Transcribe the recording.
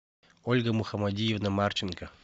ольга мухамадиевна марченко